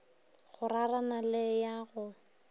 go rarana le ya go